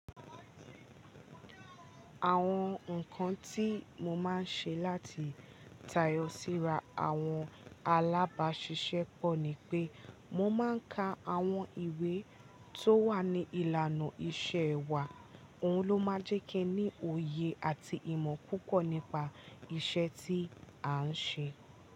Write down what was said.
Àwọn nǹkan tí mo máa ń ṣe láti tayọ síra àwọn alábáṣiṣẹ́ pọ̀ ni pé mo máa ń ka àwọn ìwé tó wà ní ìlànà iṣẹ́ wa, òun ló máa jẹ́ kí ẹ ní òye àti ìmọ̀ púpọ̀ nípa iṣẹ́ tí à ń ṣe.